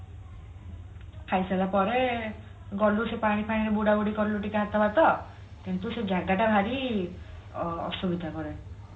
ଖାଇସାରିଲା ପରେ ଗଲୁ ସେ ପାଣି ଫାଣି ରେ ବୁଡ ବୁଡି କଲୁ ଟିକେ ହାତ ଫାତ କିନ୍ତୁ ସେ ଜାଗା ଟା ଭାରି ଅ ଅସୁବିଧା କରେ